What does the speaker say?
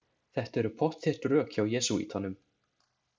Þetta eru pottþétt rök hjá jesúítanum.